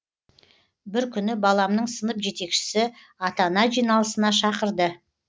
бір күні баламның сынып жетекшісі ата ана жиналысына шақырды